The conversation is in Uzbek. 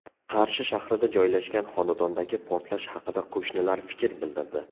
Qarshi shahrida joylashgan xonadondagi portlash haqida qo‘shnilar fikr bildirdi.